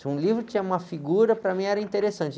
Se um livro tinha uma figura, para mim era interessante.